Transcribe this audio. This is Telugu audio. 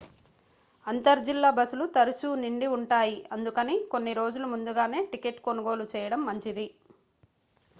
అంతర్ జిల్లా బస్సులు తరచూ నిండి ఉంటాయి అందుకని కొన్ని రోజుల ముందుగానే టికెట్ కొనుగోలు చేయడం మంచిది